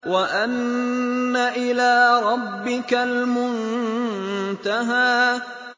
وَأَنَّ إِلَىٰ رَبِّكَ الْمُنتَهَىٰ